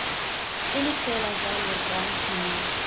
ile fela jalo rra nkinele